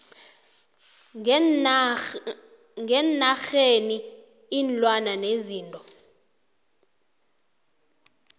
ngeenarheni iinlwana nezinto